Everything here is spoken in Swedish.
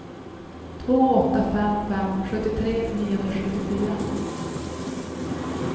två åtta fem fem sjuttiotre niohundrasjuttiofyra